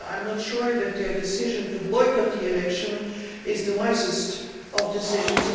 I am not sure that their decision to boycott the election is the wisest of decisions.